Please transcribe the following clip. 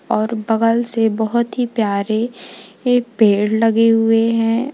और बगल से बहुत ही प्यारे ये पेड़ लगे हुए हैं।